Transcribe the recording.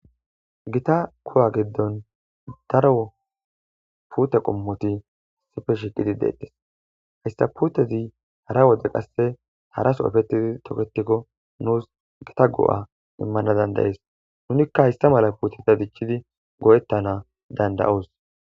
gita kowa giddon daro pute qommoti sifeshiqidi deettes hyssa puutezi hara wode qasse haraso ofettidi tokketikko nuus gita go7a immana dandayees nunikka hayssa mala puuteta dichchidi go7ettana dandayoos